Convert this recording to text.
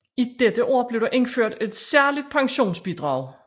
I dette år blev der indført et særligt pensionsbidrag